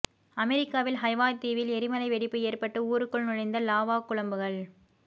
அமெரிக்காவில் ஹவாய் தீவில் எரிமலை வெடிப்பு ஏற்பட்டு ஊருக்குள் நுழைந்த லாவா குழம்புகள்